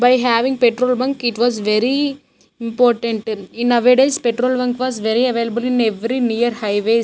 by having petrol bunk it was very important in nowadays petrol bunk was very available in every near highways.